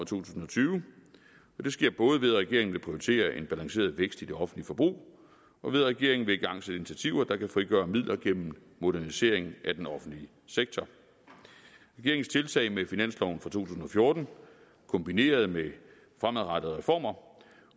tusind og tyve og det sker både ved at regeringen vil prioritere en balanceret vækst i det offentlige forbrug og ved at regeringen vil igangsætte initiativer der kan frigøre midler gennem modernisering af den offentlige sektor regeringens tiltag med finansloven for to tusind og fjorten kombineret med fremadrettede reformer